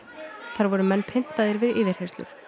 þar voru menn pyntaðir við yfirheyrslur